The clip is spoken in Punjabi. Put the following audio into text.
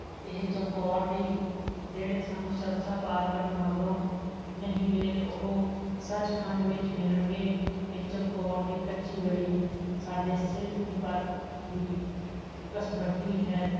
ਇਹ ਚਮਕੌਰ ਦੀ ਜਿਹੜੇ ਸਾਨੂੰ ਸਰਸਾ ਪਾਰ ਕਰਨ ਮਗਰੋਂ ਨਹੀ ਮਿਲੇ ਉਹ ਸੱਚ ਖੰਡ ਵਿੱਚ ਮਿਲਣਗੇ ਇਹ ਚਮਕੌਰ ਦੀ ਕੱਚੀ ਗੜੀ ਸਾਡੇ ਸਿਰ ਦੀ ਪਰਖ ਦੀ ਘਸਬੱਟੀ ਹੈ